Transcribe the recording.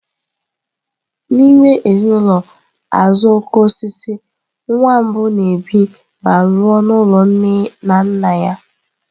N'ime ezinụlọ azuokokoosisi, nwa mbụ na-ebi ma lụọ n'ụlọ nne na nna ya.